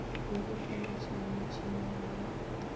ye e tsentšwego metšheneng ya